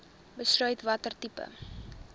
besluit watter tipe